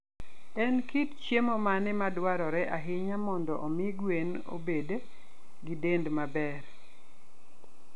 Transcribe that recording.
En kit chiemo mane madwarore ahinya mondo omi gwen obed gi dend maber?